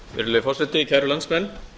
virðulegi forseti kæru landsmenn